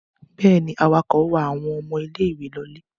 Bẹ́ẹ̀ ni, awakọ̀ wa àwọn ọmọ ilé-ìwé lọlé.